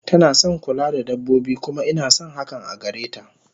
Tanason kula da dabbobi kuma inason hakan agareta